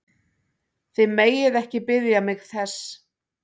Þið megið ekki biðja mig þess!